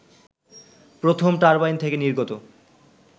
প্রথম টারবাইন থেকে নির্গত